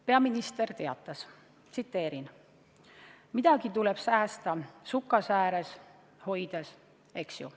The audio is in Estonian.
Peaminister teatas: "Midagi tuleb sukasääres hoida, eks ju.